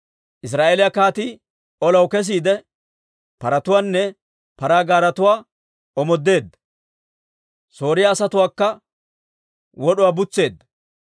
Israa'eeliyaa kaatii olaw kesiide, paratuwaanne paraa gaaretuwaa omoodeedda; Sooriyaa asatuwaakka wod'uwaa butseedda.